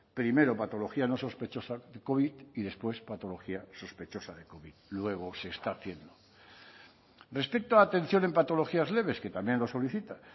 primero patología no sospechosa covid y después patología sospechosa luego se está haciendo respecto a atención en patologías leves que también lo solicitan